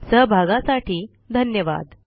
सहभागासाठी धन्यवाद